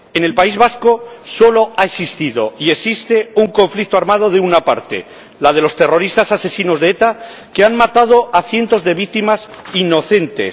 En el País Vasco solo ha existido y existe un conflicto armado de una parte, la de los terroristas asesinos de ETA que han matado a cientos de víctimas inocentes